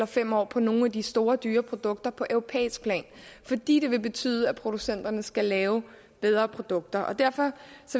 fem år på nogle af de store dyre produkter på europæisk plan fordi det vil betyde at producenterne skal lave bedre produkter derfor